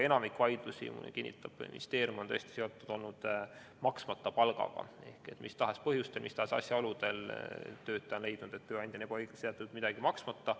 Enamik vaidlusi, nagu kinnitab ministeerium, on tõesti olnud seotud maksmata palgaga: mis tahes põhjustel, mis tahes asjaoludel on töötaja leidnud, et tööandja on ebaõiglaselt jätnud midagi maksmata.